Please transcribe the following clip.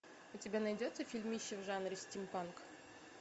у тебя найдется фильмище в жанре стимпанк